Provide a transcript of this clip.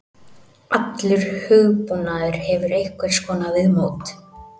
Allur hugbúnaður hefur einhvers konar viðmót.